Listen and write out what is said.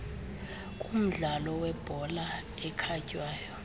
kumdlalo webhola ekhatywayo